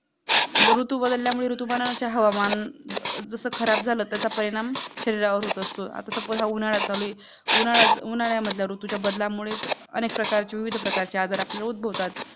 जर ऋतू बदलल्यामुळे ऋतूपणाचे हवामान जसं खराब झालं त्याचा परिणाम शरीरावर होत असतो आता आपण उन्हाला चालू आहे उन्हालाच उन्हालामध्ये ऋतूचा बदलला मुले अनेक प्रकारचे विविध आजार उद्भवतात